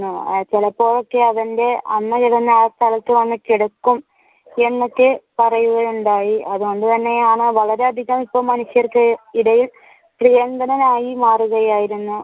ചിലപ്പോ ഒക്കെ അത് അവന്റെ അമ്മ ചെയ്‌തെന്ന് എന്നൊക്കെ പറയുകയുണ്ടായി അതുകൊണ്ടുതന്നെയാണ് വളരെയധികം ഇപ്പൊ മനുഷ്യർക്ക് ഇടയിൽ പ്രിയങ്കരനായി മാറുകയായിരുന്നു.